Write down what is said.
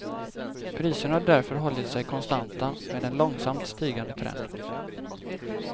Priserna har därför hållit sig konstanta med en långsamt stigande trend.